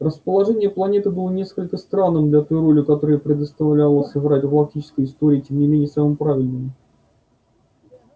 расположение планеты было несколько странным для той роли которую ей предстояло сыграть в галактической истории и тем не менее самым правильным